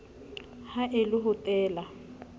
ha e le ho teela